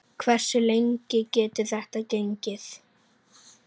Hversu lengi getur þetta gengið?